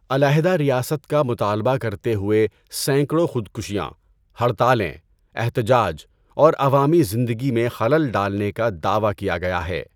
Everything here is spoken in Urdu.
علیحدہ ریاست کا مطالبہ کرتے ہوئے سینکڑوں خودکشیاں، ہڑتالیں، احتجاج اور عوامی زندگی میں خلل ڈالنے کا دعویٰ کیا گیا ہے۔